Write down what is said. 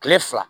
Kile fila